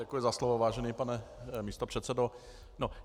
Děkuji za slovo, vážený pane místopředsedo.